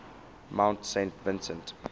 mount saint vincent